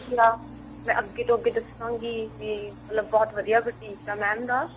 ਯਾ ਮੈਂ ਅੱਗੇ ਤੋਂ ਅੱਗੇ ਦੱਸਾਂਗੀ ਵੀ ਬਹੁਤ ਵਧੀਆ boutique ਆ mam ਦਾ